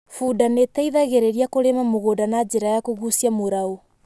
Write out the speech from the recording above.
Bunda nĩ ĩteithagĩrĩria kũrĩma mũgũnda na njĩra ya kũgũcia mũraũ.